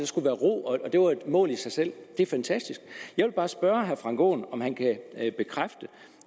skulle være ro og at det var et mål i sig selv det er fantastisk jeg vil bare spørge herre frank aaen om han kan bekræfte